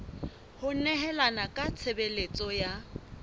ho nehelana ka tshebeletso ya